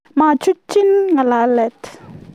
Machutchi ngalalet